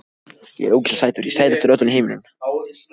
Meinarðu. að það sé þjófur í skólanum. á þessari stundu?